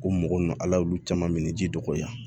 Ko mɔgɔ nunnu ala y'olu caman minɛ ji dɔgɔya